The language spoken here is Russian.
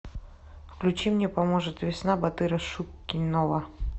включи мне поможет весна батыра шукенова